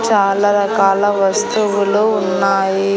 చాలా రకాల వస్తువులు ఉన్నాయి.